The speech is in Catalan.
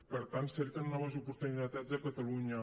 per tant cerquen noves oportunitats a catalunya